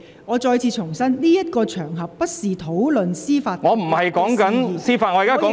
我再次重申，這不是討論司法獨立事宜的場合......